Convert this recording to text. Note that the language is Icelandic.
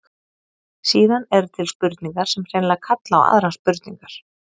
Síðan eru til spurningar sem hreinlega kalla á aðrar spurningar.